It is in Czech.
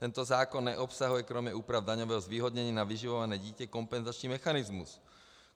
Tento zákon neobsahuje kromě úprav daňového zvýhodnění na vyživované dítě kompenzační mechanismus.